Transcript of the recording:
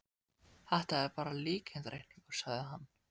Þetta er bara líkindareikningur, sagði hann.